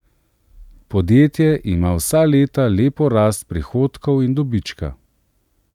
Podjetje ima vsa leta lepo rast prihodkov in dobička.